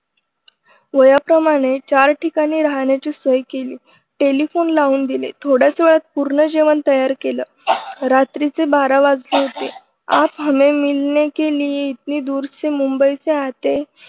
वयाप्रमाणे चार ठिकाणी राहण्याची सोय केली. टेलिफोन लावून दिले. थोड्याच वेळात पूर्ण जेवण तयार केल. रात्रीचे बारा वाजले होते. आप हमे मिलने के लिये इतनी दूर मुंबई से आते